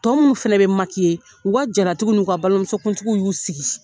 Tɔ minnu fɛnɛ bi ye, u ka jara tigiw ni ka balimamusokuntigiw y'u sigi.